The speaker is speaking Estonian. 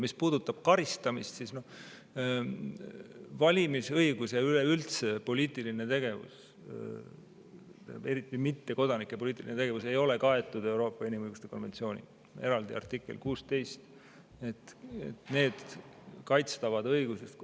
Mis puudutab karistamist, siis valimisõigus ja üleüldse poliitiline tegevus, eriti mittekodanike poliitiline tegevus ei ole kaetud Euroopa inimõiguste konventsiooniga, on eraldi artikkel 16.